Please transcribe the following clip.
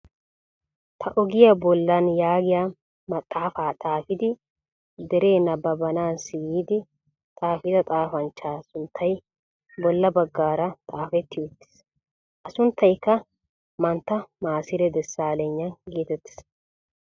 Ta ogiyaa bollaan yaagiyaan maxaafaa xaafidi deree nabaabanassi giidi xaafida xaafanchchaa sunttay bolla baggaara xafetti uttiis. A sunttaykka mantta masire desalegna getettees.